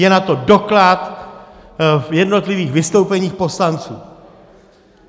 Je na to doklad v jednotlivých vystoupeních poslanců.